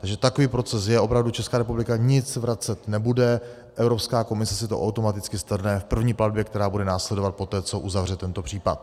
Takže takový proces je, opravdu Česká republika nic vracet nebude, Evropská komise si to automaticky strhne v první platbě, která bude následovat poté, co uzavře tento případ.